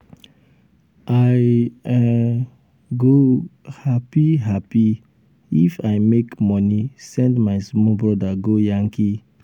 i um go um hapi hapi um if i make moni send my small broda go yankee.